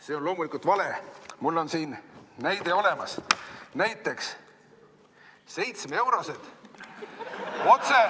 See on loomulikult vale, mul on siin näide olemas: 7-eurosed.